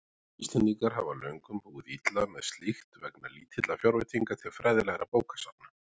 Íslendingar hafa löngum búið illa með slíkt vegna lítilla fjárveitinga til fræðilegra bókasafna.